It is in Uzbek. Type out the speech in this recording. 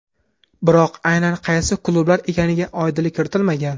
Biroq aynan qaysi klublar ekaniga oydinlik kiritilmagan.